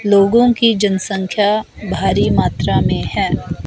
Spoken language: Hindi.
लोगों की जनसंख्या भारी मात्रा में है।